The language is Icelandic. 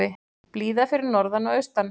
Blíða fyrir norðan og austan